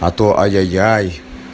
а то ай ай ай